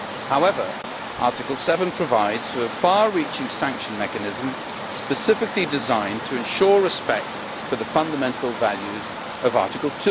However, Article 7 provides for a far reaching sanction mechanism specifically designed to ensure respect for the fundamental values of Article